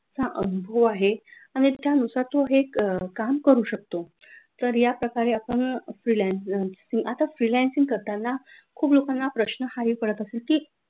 हो आहे आणि त्यानुसार तो हे काम करू शकतो या प्रकारे आपण freelance आता freelancing करताना खूप लोकांना प्रश्न हाई पडत असेल की